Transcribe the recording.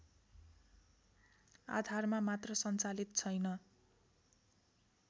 आधारमा मात्र सञ्चालित छैन